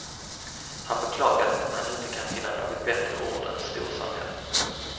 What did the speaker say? Han beklagar att han inte kan finna något bättre ord än storsamhälle. punkt